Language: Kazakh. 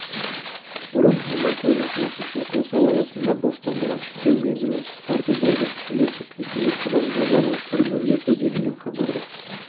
бұрын мұндай көрініс рақымшылық жасау аясында бостандығын шектеу мерзімін қысқарту болды келесі қисынды қадам жазаның түрін өзгерту делінген хабарда